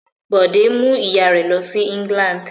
Bọ̀dé mú ìyà rẹ̀ lọ sí England.